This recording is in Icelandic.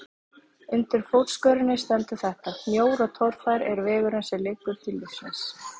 Undir fótskörinni stendur þetta: Mjór og torfær er vegurinn sem liggur til lífsins.